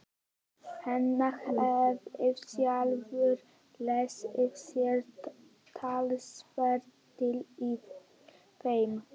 Hann hafði sjálfur lesið sér talsvert til í þeim.